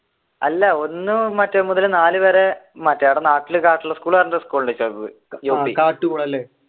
അല്ല ഒന്ന് മുതൽ നാല് വരെ മറ്റേയവിടെ നാട്ടിൽ